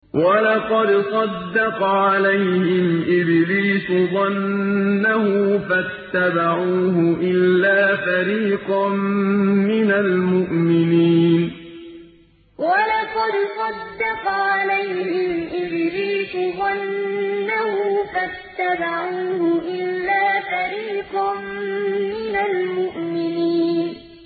وَلَقَدْ صَدَّقَ عَلَيْهِمْ إِبْلِيسُ ظَنَّهُ فَاتَّبَعُوهُ إِلَّا فَرِيقًا مِّنَ الْمُؤْمِنِينَ وَلَقَدْ صَدَّقَ عَلَيْهِمْ إِبْلِيسُ ظَنَّهُ فَاتَّبَعُوهُ إِلَّا فَرِيقًا مِّنَ الْمُؤْمِنِينَ